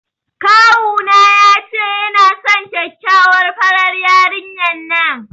Kawuna ya ce yana son kyakkyawar farar yarinyar nan.